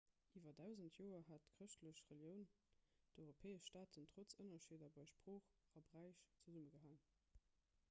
iwwer dausend joer hat d'chrëschtlech relioun d'europäesch staaten trotz ënnerscheeder bei sprooch a bräich zesummegehalen i